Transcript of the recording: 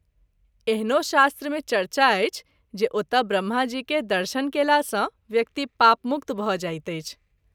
एहनो शास्त्र मे चर्चा अछि जे ओतय ब्रह्माजी के दर्शन कएला सँ व्यक्ति पापमुक्त भ’ जाइत अछि।